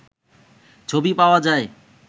ছবি পাওয়া যায়